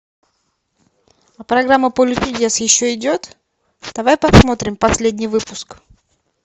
а программа поле чудес еще идет давай посмотрим последний выпуск